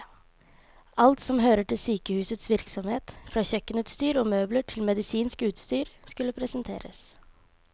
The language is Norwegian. Alt som hører til sykehusets virksomhet, fra kjøkkenutstyr og møbler til medisinsk utstyr, skulle presenteres.